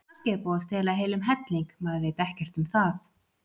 Kannski er búið að stela heilum helling, maður veit ekkert um það.